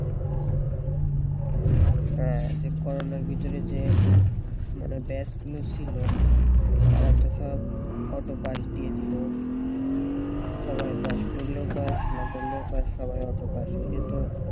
হ্যাঁ যে করোনার ভিতরে যে মানে batch গুলো ছিল তারা তো সব autopass দিয়ে দিল সবাই পাস পড়লেও পাস না পড়লেও পাস সবাই autopass এটা তো